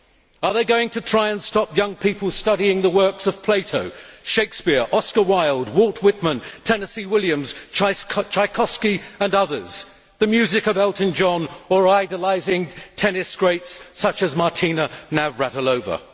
Are they going to try and stop young people studying the works of Plato, Shakespeare, Oscar Wilde, Walt Whitman, Tennessee Williams, Tchaikovsky and others, the music of Elton John, or idolising tennis greats such as Martina Navratilova?